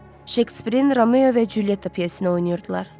Şekspirin Romeo və Culyetta pyesini oynayırdılar.